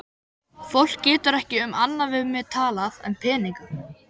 Fólk getur ekki um annað við mig talað en peninga.